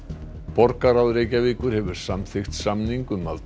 borgarráð Reykjavíkur hefur samþykkt samning um að